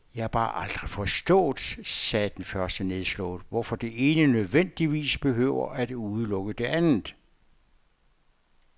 Jeg har bare aldrig forstået, sagde den første nedslået, hvorfor det ene nødvendigvis behøver at udelukke det andet.